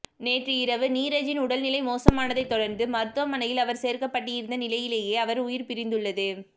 நேற்றிரவு நீரஜின் உடல்நிலை மோசமானதை தொடர்ந்து மருத்துவமனையில் அவர் சேர்க்கப்பட்டிருந்த நிலையிலேயே அவர் உயிர் பிரிந்துள்ளது